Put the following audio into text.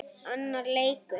Annar leikur